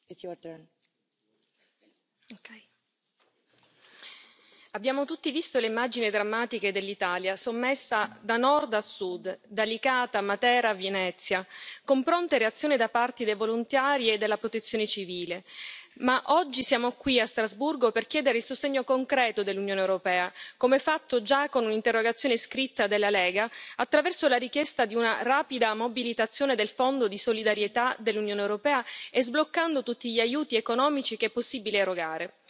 Signora Presidente, onorevoli colleghi, abbiamo tutti visto le immagini drammatiche dell'Italia, sommersa da nord a sud, da Licata a Matera a Venezia, con pronte reazioni da parte dei volontari e della Protezione civile. Oggi siamo qui a Strasburgo per chiedere il sostegno concreto dell'Unione europea, come fatto già con un'interrogazione scritta della Lega attraverso la richiesta di una rapida mobilitazione del Fondo di solidarietà dell'Unione europea e sbloccando tutti gli aiuti economici che è possibile erogare.